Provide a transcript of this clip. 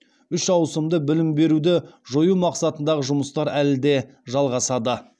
үш ауысымды білім беруді жою мақсатындағы жұмыстар әлі де жалғасады